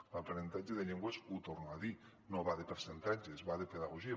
l’aprenentatge de llengües ho torno a dir no va de percentatges va de pedagogia